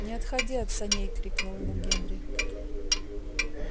не отходи от саней крикнул ему генри